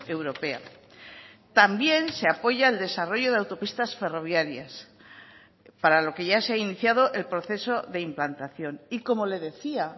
europea también se apoya el desarrollo de autopistas ferroviarias para lo que ya se ha iniciado el proceso de implantación y como le decía